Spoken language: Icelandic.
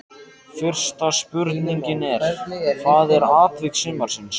Fyrsta spurningin er: Hvað er atvik sumarsins?